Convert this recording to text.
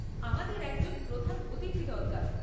আমাদের একজন প্রধান অতিথি দরকার।